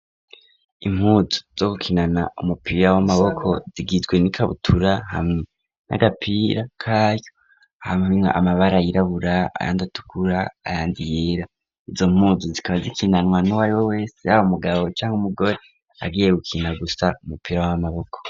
Impuzu zo gukinana umupira w'amaboko zigizwe n'ikabutura hamwe n'agapira kayu hamanwa amabara yirabura ayandatukura ayandiyera izo mpuzu zikaba zikinanwa n'uwari we wese abo mugabo cyangwa umugore ariye gukina gusa umupira w'amaboko.